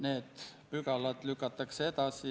Härra Kunnas!